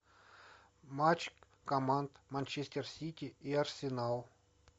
матч команд манчестер сити и арсенал